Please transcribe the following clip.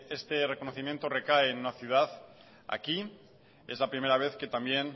este reconocimiento recae en una ciudad aquí es la primera vez que también